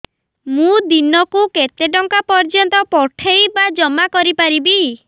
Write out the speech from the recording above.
ମୁ ଦିନକୁ କେତେ ଟଙ୍କା ପର୍ଯ୍ୟନ୍ତ ପଠେଇ ବା ଜମା କରି ପାରିବି